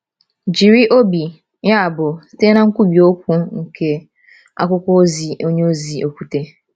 Jiri obi, yabụ, site na nkwubi okwu nke akwụkwọ ozi onyeozi Okwute: